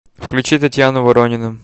включи татьяну воронину